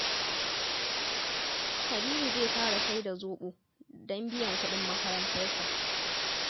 Habibu zai fara sai da zoɓo don biyan kuɗin makarantarsa